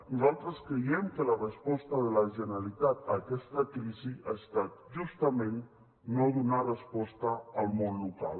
nosaltres creiem que la resposta de la generalitat a aquesta crisi ha estat justament no donar resposta al món local